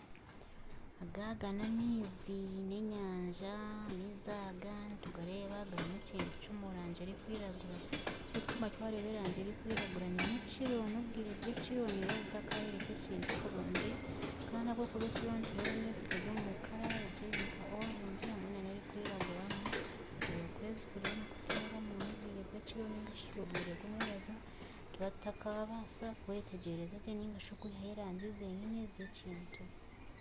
Aga n'amaizi, amaizi aga nitugareeba n'enyanya erimu ekintu ekirikwiragura ekirikutuma twareeba erangi ni nyekiro obwire bw'ekiro tibukayooreka ekintu kurungi Kandi ahabwokuba nyekiro amaizi gari omurangi ya kacungwa hamwe nana erikwiraguramu okwezi kiriyo nikiteeramu n'obwire bwekiro narishi omu mwabazyo nituba tutakabaasa kwihayo erangi zenyine eze kintu.